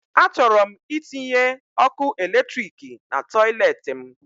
A chọrọ m itinye ọkụ eletriki na toilet m